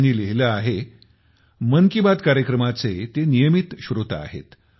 त्यांनी लिहिले आहे मन की बातकार्यक्रमाचे ते नियमित श्रोता आहेत